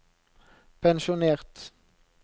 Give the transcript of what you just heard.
pensjonert